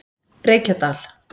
Reykjadal